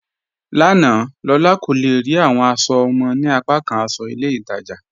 Lána, Lólà kò le rí awọn aṣọ ọmọ ni apàkàn aṣọ ilẹ̀ Ìtaja